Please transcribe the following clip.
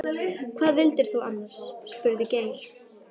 Hvað vildir þú annars? spurði Geir.